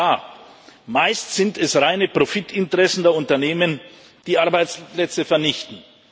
Klar, meist sind es reine Profitinteressen der Unternehmen, die Arbeitsplätze vernichten.